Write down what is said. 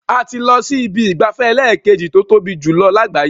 A ti lọ sí ibi ìgbafẹ́ ẹlẹ́ẹ̀kejì tó tóbi jùlọ lágbàáyé.